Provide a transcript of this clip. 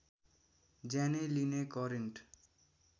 ज्यानै लिने करेन्ट